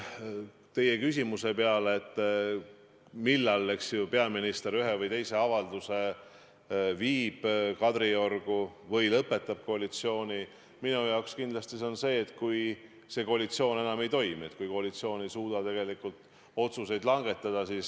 Teie küsimusele, millal peaminister viib ühe või teise avalduse Kadriorgu või lõpetab koalitsiooni tegevuse, vastan, et minu jaoks on õige aeg kindlasti siis, kui see koalitsioon enam ei toimi, kui koalitsioon ei suuda tegelikult otsuseid langetada.